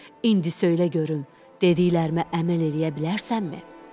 İndi söylə görüm, dediklərimə əməl eləyə bilərsənmi?